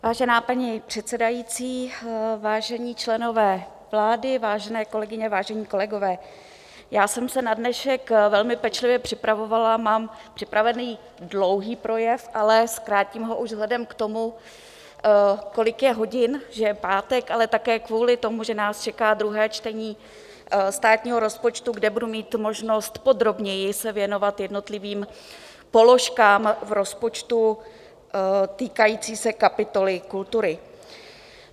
Vážená paní předsedající, vážení členové vlády, vážené kolegyně, vážení kolegové, já jsem se na dnešek velmi pečlivě připravovala, mám připravený dlouhý projev, ale zkrátím ho už vzhledem k tomu, kolik je hodin, že je pátek, ale také kvůli tomu, že nás čeká druhé čtení státního rozpočtu, kde budu mít možnost podrobněji se věnovat jednotlivým položkám v rozpočtu týkajícím se kapitoly kultury.